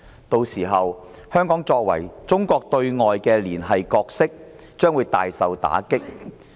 屆時，香港作為中國對外連繫的角色將會大受打擊。